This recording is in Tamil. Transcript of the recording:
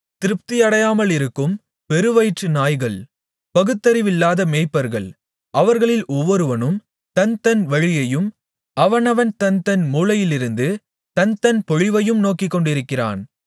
திருப்தியடையாமலிருக்கும் பெருவயிற்று நாய்கள் பகுத்தறிவில்லாத மேய்ப்பர்கள் அவர்களில் ஒவ்வொருவனும் தன் தன் வழியையும் அவனவன் தன்தன் மூலையிலிருந்து தன்தன் பொழிவையும் நோக்கிக்கொண்டிருக்கிறான்